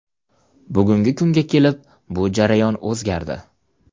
Bugungi kunga kelib bu jarayon o‘zgardi.